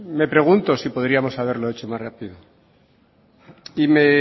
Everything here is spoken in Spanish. me pregunto si podríamos haberlo hecho más rápido